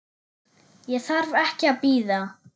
Ég þarf ekki að bíða.